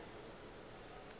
yeo a bego a e